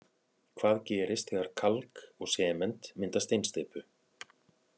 Hvað gerist þegar kalk og sement mynda steinsteypu?